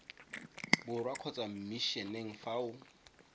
borwa kgotsa mmisheneng fa o